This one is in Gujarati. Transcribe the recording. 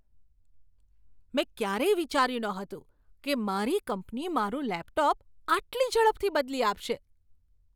મેં ક્યારેય વિચાર્યું નહોતું કે મારી કંપની મારું લેપટોપ આટલી ઝડપથી બદલી આપશે!